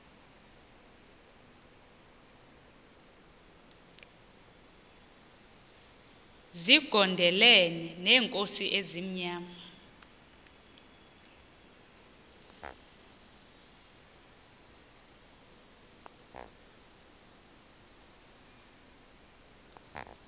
zigondelene neenkosi ezimnyama